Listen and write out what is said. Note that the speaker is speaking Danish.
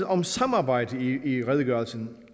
om samarbejdet i redegørelsen